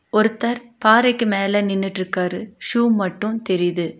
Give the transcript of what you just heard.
ஒருத்தர் பாறைக்கு மேல நின்னுட்ருக்காரு ஷூ மட்டு தெரியிது.